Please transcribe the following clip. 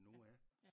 Noah